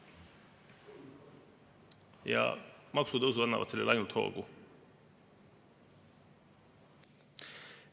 Ja maksutõusud annavad sellele ainult hoogu.